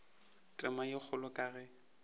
tema ye kgolo ka ge